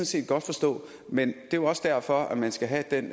set godt forstå men det er jo også derfor man skal have den